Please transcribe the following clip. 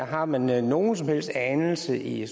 har man man nogen som helst anelse i